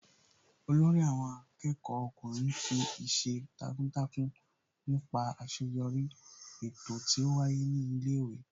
Olórí àwọn akẹ́kọ̀ọ́ ọkùnrin fi ìṣe takuntakun nípa àṣeyọrí eto tí ó wáyé ní ilé ìwé